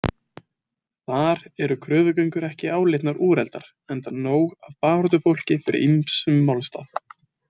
Þar eru kröfugöngur ekki álitnar úreltar enda nóg af baráttufólki fyrir ýmsum málstað.